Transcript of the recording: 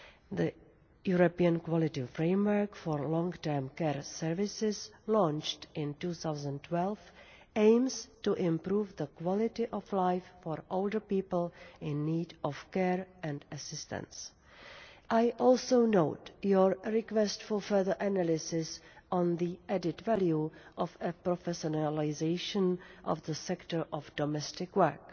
The European Quality Framework for long term care services, launched in 2012, aims to improve the quality of life for older people in need of care and assistance. I also note the request for further analysis on the added value of a professionalisation of the sector of domestic work.